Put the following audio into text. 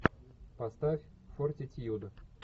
поставь фортитьюд